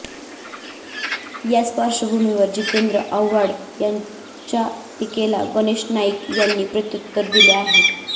याच पार्श्वभूमीवर जितेंद्र आव्हाड यांच्या टीकेला गणेश नाईक यांनी प्रत्युत्तर दिलं आहे